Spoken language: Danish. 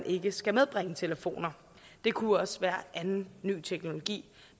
ikke skal medbringes telefoner det kunne også være anden ny teknologi